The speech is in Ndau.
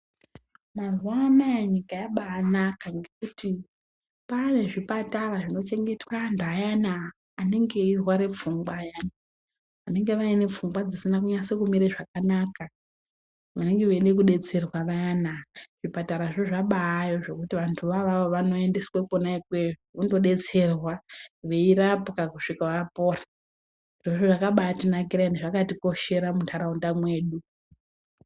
Mazuwaanaa nyika yabaanaka ngekuti paane zvipatara zvinochengetwa antu ayana anenge eirwara pfungwa ayani, vanenge vaine pfungwa dzisina kunyase kumire zvakanaka, vanenge veide kudetserwa vayana. Zvipatarazvo zvabaayo zvekuti vantuvo avavo vanoendeswa kwona ikweyo vondodetserwa, veirapwa kusvika vapora. Zvirozvo zvakabaatinakira ende zvakatikoshera muntaraunda mwedu.